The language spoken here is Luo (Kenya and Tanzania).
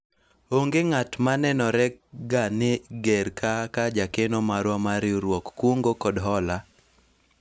onge ng'at ma nenore ga ni ger kaka jakeno marwa mar riwruog kungo kod hola